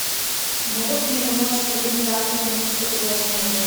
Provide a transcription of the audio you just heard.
могут ли мне помочь с организацией романтического предложения в отеле